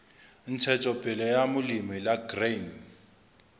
ntshetsopele ya molemi la grain